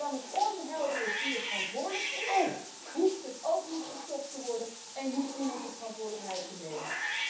Want zolang het onhelder is wie er verantwoordelijk is, hoeft het ook niet gestopt te worden en hoeft niemand de verantwoordelijkheid te nemen.